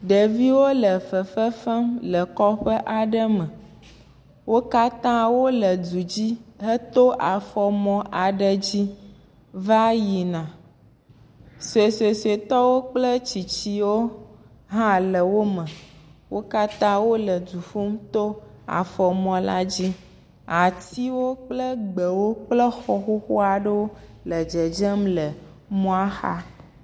Ɖeviwo le fefefem le kɔƒe aɖe me. Wo katã wole du dzi heto afɔ mɔ aɖe dzi va yina. Suesuetɔwo kple tsitsiwo hã le wo me. Wo katã wole du ƒum to afɔmɔ la dzi. Atiwo kple gbewo kple xɔ xoxo aɖe le dzedze le mɔa xa.